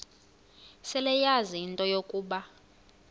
seleyazi into yokuba